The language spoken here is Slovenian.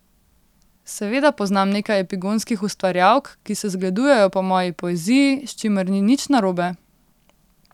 Seveda poznam nekaj epigonskih ustvarjalk, ki se zgledujejo po moji poeziji, s čimer ni nič narobe.